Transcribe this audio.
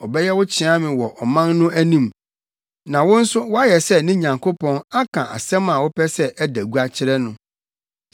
Ɔbɛyɛ wo kyeame wɔ ɔman no anim, na wo nso woayɛ sɛ ne Nyankopɔn aka asɛm a wopɛ sɛ ɛda gua akyerɛ no.